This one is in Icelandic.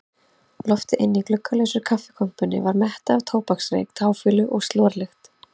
Loftið inni í gluggalausri kaffikompunni var mettað af tóbaksreyk, táfýlu og slorlykt.